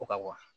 Ko ka